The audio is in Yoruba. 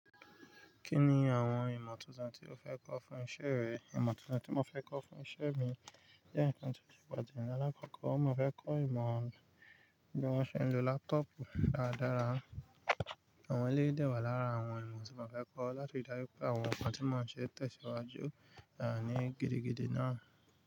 Kí ni àwọn ìmọ̀ tuntun tí o fẹ́ kọ́ fún isẹ́ rẹ? Ìmọ̀ tuntun tí mo fẹ́ kọ́ fún isẹ́ mi jẹ́ ǹkan tó ti pọ̀ jù ní alákọ̀kọ́. Mo fẹ́ kọ́ ìmọ̀ bí wón ṣe ń lo laptop dáradára. Àwọn eléyii de wà lára àwọn ìmọ̀ tí mo fẹ́ kọ́ láti ri daju pé àwọn nǹkan tí mo ṣe ń tẹ̀síwájú ní gidigidi náà.